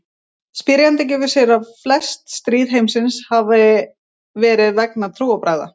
Spyrjandi gefur sér að flest stríð heimsins hafi verið vegna trúarbragða.